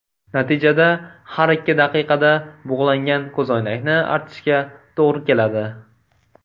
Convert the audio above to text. Natijada har ikki daqiqada bug‘langan ko‘zoynakni artishga to‘g‘ri keladi.